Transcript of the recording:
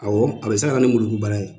Ɔwɔ a bɛ se ka na ni muluku bana ye